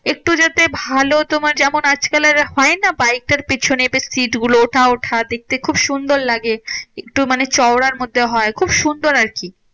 একটু যদি ভালো তোমার যেমন আজকালের হয়না? বাইকের পেছনে seat গুলো ওঠা ওঠা দেখতে খুব সুন্দর লাগে। একটু মানে চওরার মধ্যে হয় খুব সুন্দর আরকি।